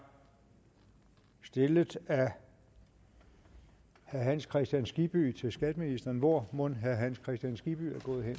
stillet af herre hans kristian skibby til skatteministeren hvor mon herre hans kristian skibby